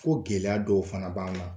Ko gɛlɛyaw dɔw fana b'an na.